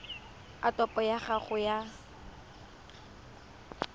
a topo ya gago ya